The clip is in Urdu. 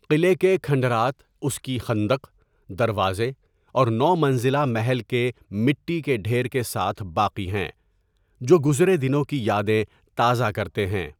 قلعے کے کھنڈرات اس کی خندق، دروازے اور نو منزلہ محل کے مٹی کے ڈھیر کے ساتھ باقی ہیں، جو گزرے دنوں کی یادیں تازہ کرتے ہیں۔